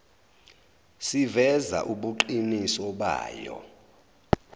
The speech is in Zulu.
siveza ubuqiniso bayo